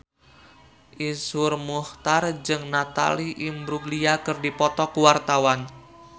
Iszur Muchtar jeung Natalie Imbruglia keur dipoto ku wartawan